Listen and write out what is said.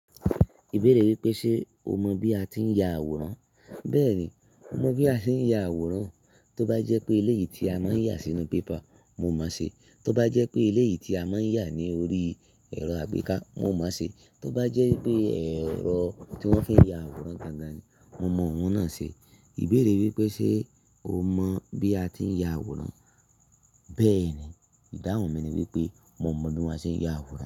Ìbéèrè wípé ṣe o mọ bí a ti ń ya àwòrán, bẹ́ẹ̀ni mo mọ bí a ti ń ya àwòrán. Tó bá jẹ́ pé eléyìí tí a máa ń yà sínú paper mo máa ṣe, tó bá jẹ́ pé eléyìí tí a máa ń yà ní orí ẹ̀rọ àgbéká mo máa ṣe, tó bá jẹ́ pé ẹ̀rọ tí wón fi ń ya àwòrán gangan ni mo mọ òun náà ṣe. Ìbéèrè wípé ṣe o mọ bí a ti ń ya àwòrán, bẹ́ẹ̀ni ìdáhùn mi ni wípé mo mọ bí a ṣe ń ya àwòrán.